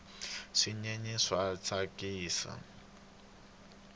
swinyenyani swa tsakisa